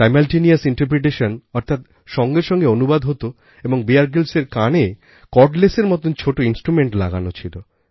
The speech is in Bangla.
Simultaneous interpretationঅর্থাৎ সঙ্গে সঙ্গেঅনুবাদ হত এবং বিয়ার গ্রিলস এর কানে কর্ডলেসের মতন ছোট instrumentলাগানো ছিল